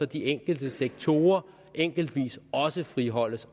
de enkelte sektorer enkeltvis også friholdes